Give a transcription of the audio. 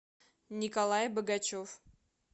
николай богачев